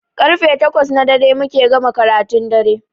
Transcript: Karfe takwas na dare muke gama karatun dare